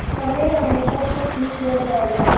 समय आने पर सब ठीक हो जाएगा